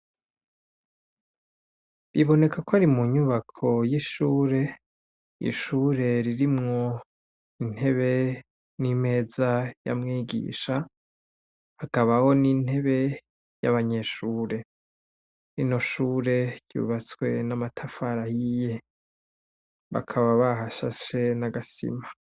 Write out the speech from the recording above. Biboneka ko ari mu nyubako y'ishure, ishure ririmwo intebe n'imeza y'amwigisha, hakabaho n'intebe y'abanyeshure, rino shure ryubatswe n'amatafari ahiye bakaba bahashashe n'agasima.